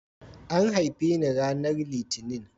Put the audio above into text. An haife ni ranar Litinin.